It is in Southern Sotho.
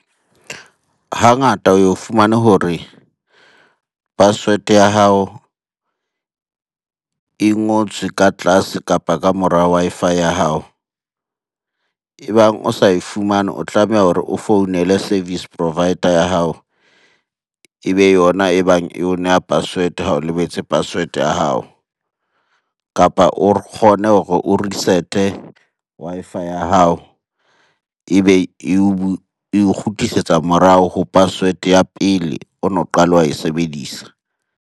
Hangata o ye o fumane hore password ya hao e ngotswe ka tlase kapa ka mora Wi-Fi ya hao. E bang o sa e fumane, o tlameha hore o founele service provider ya hao ebe yona e bang eo neha password-e ha o lebetse password-e ya hao. Kapa o kgone hore o reset-e Wi-Fi ya hao ebe eo kgutlisetsa morao ho password-e ya pele o no qala wa e sebedisa.